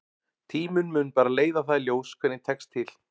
Tíminn mun bara leiða það í ljós hvernig tekst til.